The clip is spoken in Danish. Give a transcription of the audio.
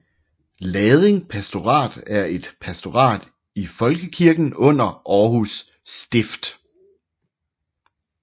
Lading pastorat er et pastorat i Folkekirken under Århus Stift